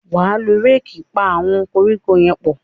wá ló Réèkì pá àwọn koríko yén pọ